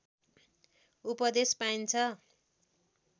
उपदेश पाइन्छ